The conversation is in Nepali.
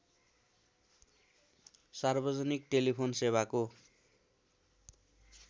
सार्वजनिक टेलिफोन सेवाको